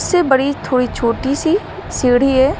उससे बड़ी थोड़ी छोटी सीढ़ी है।